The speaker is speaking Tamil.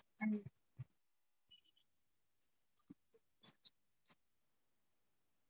பன்னீர்